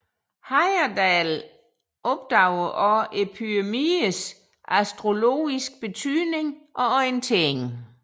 Heyerdahl opdagede også pyramidernes astrologiske betydning og orientering